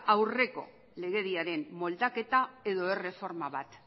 aurreko legediaren moldaketa edo erreforma bat